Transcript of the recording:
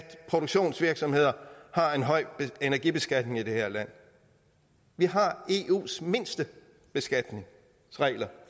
produktionsvirksomheder har en høj energibeskatning i det her land vi har eus laveste beskatning